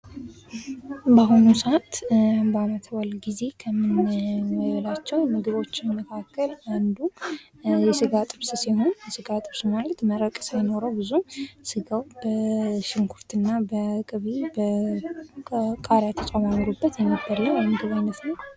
በአሁኑ ሰዓት በአመት በአል ጊዜ ከምንጠቀማቸው ምግቦች መካከል አንዱ የስጋ ጥብስ ሲሆን የስጋ ጥብስ ማለት መረቅ ሳይኖረው ስጋው በሽንኩርት እና ቅቤ የተጨማምሮበት የሚበላ የምግብ ዓይነት ነው።